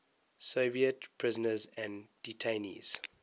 soviet prisoners and detainees